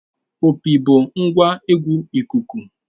Opi bụ ngwa egwu ikuku.